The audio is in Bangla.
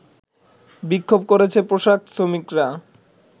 বিক্ষোভ করেছে পোশাক শ্রমিকরা